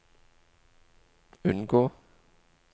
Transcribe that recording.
unngå